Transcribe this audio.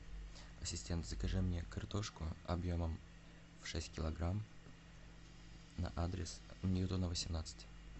ассистент закажи мне картошку объемом шесть килограмм на адрес ньютона восемнадцать